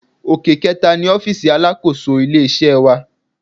Òkè kẹẹ̀ta ni ọfísì alákòóso ilé-iṣẹ́ wà